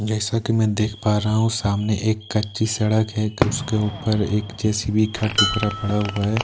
जैसा कि मैं देख पा रहा हूं सामने एक कच्ची सड़क है उसके ऊपर एक जे_सी_बी का टुकड़ा पड़ा हुआ है।